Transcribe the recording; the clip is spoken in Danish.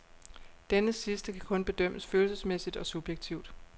Denne sidste kan kun bedømmes følelsesmæssigt og subjektivt.